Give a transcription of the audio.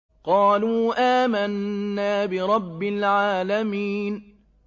قَالُوا آمَنَّا بِرَبِّ الْعَالَمِينَ